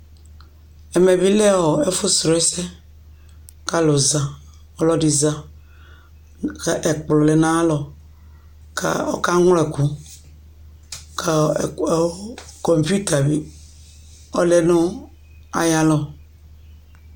Ɛmɛ bɩ lɛ ɔ ɛfʋsrɔ ɛsɛ kʋ alʋ za, ɔlɔdɩ za Ɛkplɔ lɛ nʋ ayalɔ kʋ ɔkaŋlɔ ɛkʋ kʋ ɛkʋ kɔmpuita bɩ ɔlɛ nʋ ayalɔ